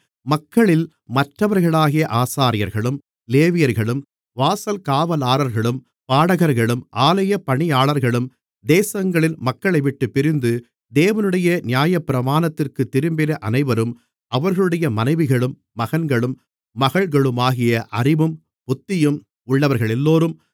மக்களில் மற்றவர்களாகிய ஆசாரியர்களும் லேவியர்களும் வாசல் காவலாளர்களும் பாடகர்களும் ஆலய பணியாளர்களும் தேசங்களின் மக்களைவிட்டுப் பிரிந்து தேவனுடைய நியாயப்பிரமாணத்திற்குத் திரும்பின அனைவரும் அவர்களுடைய மனைவிகளும் மகன்களும் மகள்களுமாகிய அறிவும் புத்தியும் உள்ளவர்களெல்லோரும்